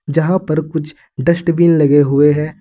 जहां पर कुछ डस्टबिन लगे हुए हैं।